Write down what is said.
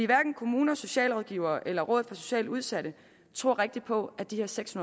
hverken kommuner socialrådgivere eller rådet for socialt udsatte tror rigtig på at de her seks